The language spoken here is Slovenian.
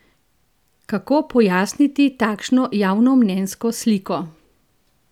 Kako pojasniti takšno javnomnenjsko sliko?